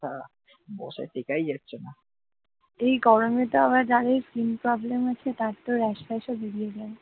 এই গরমে যার skin problem আছে তার তো আবার রেসপ্যাশ ও বেরিয়ে যায়